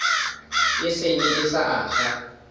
e senye e sa aga